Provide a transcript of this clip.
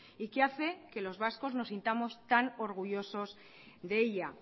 y que hace que los vascos nos sintamos tan orgullosos de ella